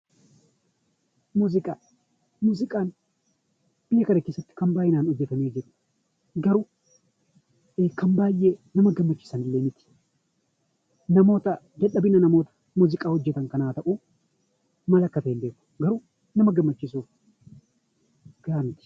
Muuziqaan biyya kana keessatti kan baay'inaan garuu kan baay'ee nama gammachiisan illee miti. Dadhabina namoota muuziqaa kana hojjatan ta'uu maal akka ta'e hin beeku garuu nama gammachiisuuf gahaa miti.